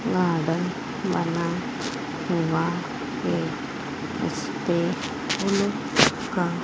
border बना हुआ है उसपे फूलों का--